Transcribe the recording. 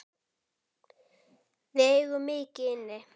Við eigum mikið inni.